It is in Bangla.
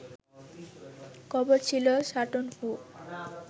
কবর ছিল ‘সাটন হু’